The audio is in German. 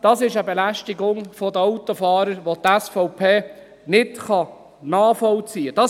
Das ist eine Belästigung der Autofahrer, welche die SVP nicht nachvollziehen kann.